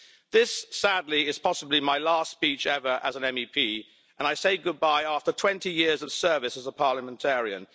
This, sadly, is possibly my last speech ever as an MEP, and I say goodbye, after 20 years of service as a Parliamentarian.